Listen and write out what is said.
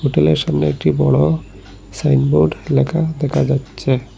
সামনে একটি বড় সাইনবোর্ড লেখা দেখা যাচ্ছে।